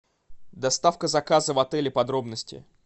доставка заказа в отеле подробности